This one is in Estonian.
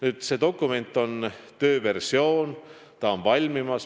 Nüüd on see dokument valmimas, meil on olemas tööversioon.